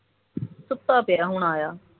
ਸੁੱਤਾ ਪਿਆ ਹੁਣ ਆਇਆ